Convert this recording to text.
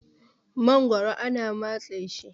magoro ana matse shi